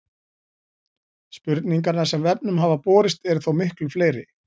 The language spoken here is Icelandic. Spurningarnar sem vefnum hafa borist eru þó miklu fleiri.